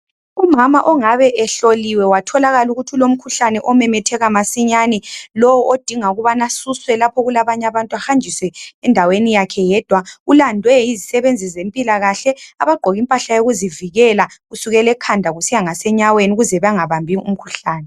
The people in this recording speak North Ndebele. Umama ongabe ehloliwe watholakala ukuthi ulomkhuhlane omemetheka masinyane lowo odinga ukubane esuswe lapho okulabanye abantu ahanjiswe endaweni yakhe yedwa ulandwe yizisebenzi zempilakahle abagqoke impahla yokuzivileka kusukela ekhanda kusiya enyaweni ukuze bengabambi umkhuhlane.